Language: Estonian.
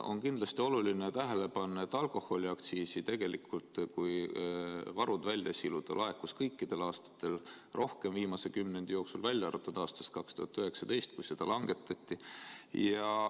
On kindlasti oluline tähele panna, et alkoholiaktsiisi, kui varud välja siluda, laekus viimase kümnendi jooksul kõikidel aastatel tegelikult rohkem, välja arvatud aastast 2019, kui seda langetati.